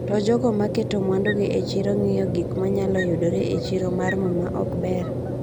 To, jogo ma keto mwandugi e chiro ng’iyo gik ma nyalo yudore e chiro mar mo ma ok ber.